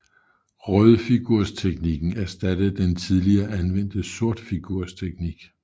Rødfigursteknikken erstattede den tidligere anvendte sortfigursteknik